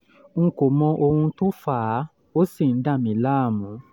n kò mọ ohun tó fà fà á ó sì ń dà mí láàmú